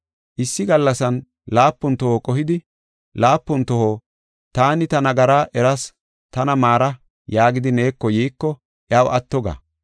Issi gallasan laapun toho qohidi, laapun toho, ‘Taani ta nagaraa eras tana maara’ yaagidi neeko yiiko iyaw atto ga.”